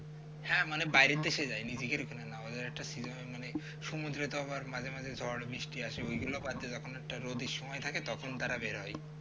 হ্যাঁ মানে বাইরের দেশে যাই নিজেদের এখানে না ওদের একটা cinema মানে সমুদ্রে তো আবার মাঝে মাঝে ঝড় বৃষ্টি আসে ওই গুলো বাদে যখন একটা রোদের সময় থাকে তখন তারা বেরোয়